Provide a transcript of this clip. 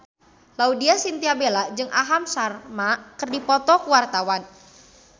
Laudya Chintya Bella jeung Aham Sharma keur dipoto ku wartawan